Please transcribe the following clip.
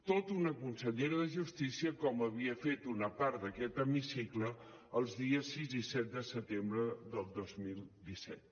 tota una consellera de justícia com havia fet una part d’aquest hemicicle els dies sis i set de setembre del dos mil disset